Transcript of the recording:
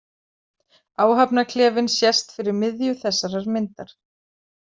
Áhafnarklefinn sést fyrir miðju þessarar myndar.